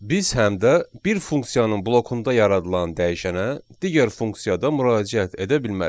Biz həm də bir funksiyanın blokunda yaradılan dəyişənə digər funksiyada müraciət edə bilmərik.